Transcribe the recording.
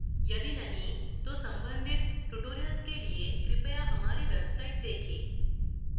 यदि नहीं तो संबंधित tutorials के लिए कृपया हमारी website